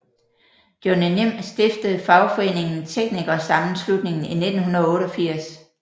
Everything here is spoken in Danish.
Johnny Nim stiftede fagforeningen TeknikerSammenslutningen i 1988